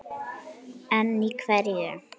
En í hverju?